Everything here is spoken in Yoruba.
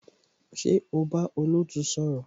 Ṣé o bá olootu sọ̀rọ̀?